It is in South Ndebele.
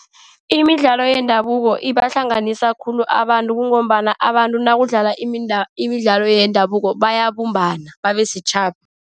Imidlalo yendabuko ibahlanganisa khulu abantu, kungombana abantu nakudlalwa imidlalo yendabuko bayabumbana, babe sitjhaba.